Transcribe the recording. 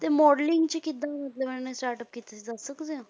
ਤੇ modeling 'ਚ ਕਿੱਦਾਂ ਮਤਲਬ ਇਹਨਾਂ ਨੇ startup ਕੀਤਾ ਸੀ ਦੱਸ ਸਕਦੇ ਹੋ?